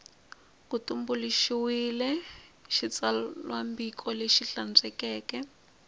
ku tumbuluxiwile xitsalwambiko lexi hlantswekeke